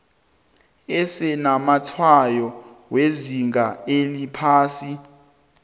esinamatshwayo wezinga eliphasi